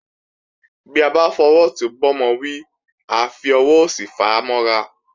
Bí a bá fọwọ́ ọ̀tún bá ọmọ wí, a fi ọwọ́ òsì fàá mọ́ra